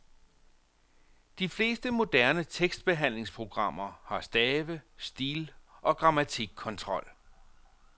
De fleste moderne tekstbehandlingsprogrammer har stave-, stil- og grammatikkontrol.